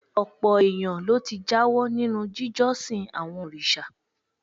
Ọ̀pọ̀ èèyàn ló ti jáwọ́ nínú jíjọ́sìn àwọn òrìṣà